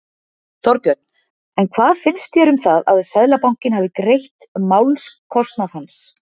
Þorbjörn: En hvað finnst þér um það að Seðlabankinn hafi greidd málskostnaðinn hans?